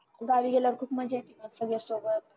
गावीगेल्यावर खूप मज्जा येते बघ सगळयांसोबत